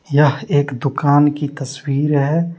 यह एक दुकान की तस्वीर है।